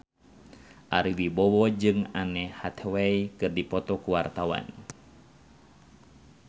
Ari Wibowo jeung Anne Hathaway keur dipoto ku wartawan